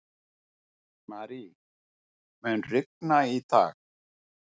Marie, mun rigna í dag?